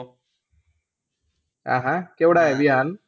अहा! केवढा आहे विहान?